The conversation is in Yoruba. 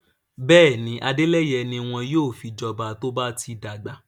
Bẹ́ẹ̀ni, Adeleye ni won yóò fi joba to ba ti dagba